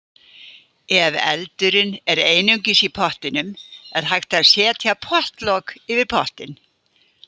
Ef eldurinn er einungis í pottinum er hægt að setja pottlok yfir pottinn.